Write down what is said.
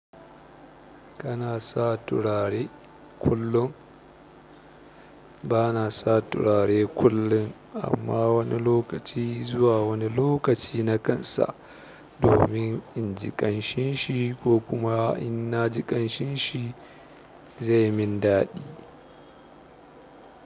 Kana sa turare kullum? Bana sa turare kullum amma wani lokaci zuwa wani lokaci na kansa domin in ji ƙanshin shi ko kuma in na ji ƙanshin shi zai min daɗi.